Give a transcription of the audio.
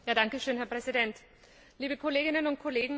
Herr Präsident, liebe Kolleginnen und Kollegen!